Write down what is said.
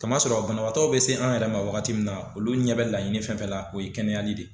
Kamasɔrɔ banabagatɔw bɛ se an yɛrɛ ma wagati min na olu ɲɛ bɛ laɲini fɛn fɛn la o ye kɛnɛyali de ye.